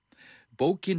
bókin